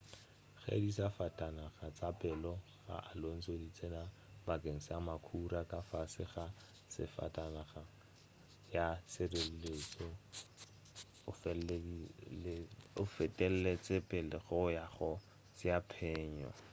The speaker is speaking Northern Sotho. ge disafatanaga tša pele ga alonso di tsena bakeng sa makhura ka fase ga safatanaga ya tšhireletšo o fetetše pele go ya go tšea phenyo